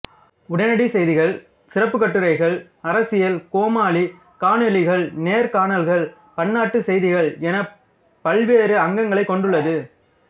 உடனடி செய்திகள் சிறப்புக் கட்டுரைகள் அரசியல் கோமாளி காணொளிகள் நேர்காணல்கள் பன்னாட்டு செய்திகள் என பல்வேறு அங்கங்களைக் கொண்டுள்ளது